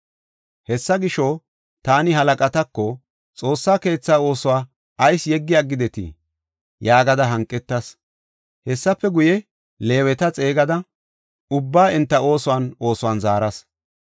Hessa gisho, taani halaqatako, “Xoossa keetha oosuwa ayis yeggi aggidetii?” yaagada hanqetas. Hessafe guye, Leeweta xeegada ubbaa enta oosuwan oosuwan zaaras.